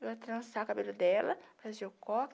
Eu ia trançar o cabelo dela, fazer o coque.